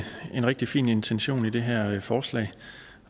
en rigtig fin intention det her forslag